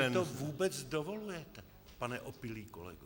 Co si to vůbec dovolujete, pane opilý kolego?